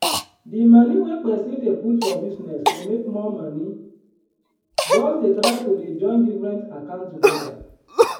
d moni wey pesin dey put for business to make more moni just dey try to dey join different account togeda.